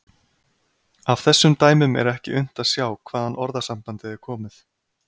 Af þessum dæmum er ekki unnt að sjá hvaðan orðasambandið er komið.